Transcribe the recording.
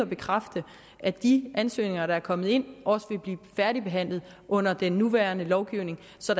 bekræfte at de ansøgninger der er kommet ind også vil blive færdigbehandlet under den nuværende lovgivning så